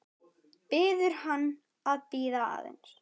Biður hann að bíða aðeins.